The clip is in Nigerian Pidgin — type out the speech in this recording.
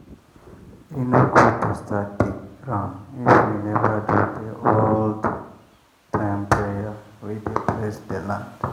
e no good to start dig ground if you never do the old-time prayer wey dey bless the land.